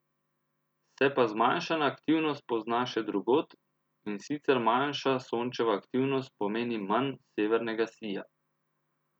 Se pa zmanjšana aktivnost pozna še drugod, in sicer manjša Sončeva aktivnost pomeni manj severnega sija.